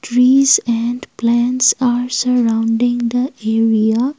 trees and plants are surrounding the area.